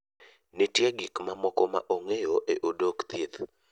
Nitie gik mamoko ma ong'eyo e Odok thieth.